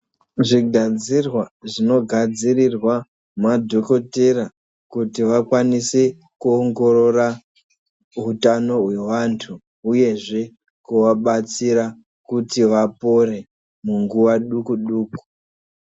Zvigadzirwa zvinogadzirirwa madhokotera kuti vakwanise kuongorora hutano hwevantu hueyzve kuvabatsira kuti vapore munguwa duku duku.